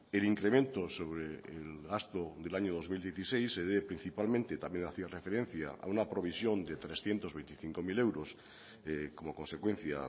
el incremento sobre el gasto del año dos mil dieciséis se debe principalmente también hacía referencia a una provisión de trescientos veinticinco mil euros como consecuencia